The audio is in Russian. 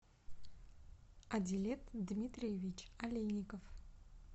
адилет дмитриевич олейников